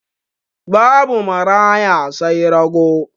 Babu maraya sai rago?